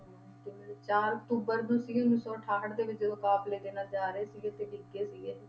ਹਾਂ ਤੇ ਚਾਰ ਅਕਤੂਬਰ ਉੱਨੀ ਸੌ ਅਠਾਹਠ ਦੇ ਵਿੱਚ ਜਦੋਂ ਕਾਫ਼ਲੇ ਦੇ ਨਾਲ ਜਾ ਰਹੇ ਸੀਗੇ ਤੇ ਡਿੱਗ ਗਏ ਸੀਗੇ।